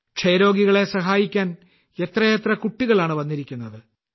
ക്ഷയരോഗികളെ സഹായിക്കാൻ എത്രയെത്ര കുട്ടികളാണ് വന്നിരിക്കുന്നത്